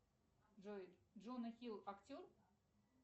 джой джона хилл актер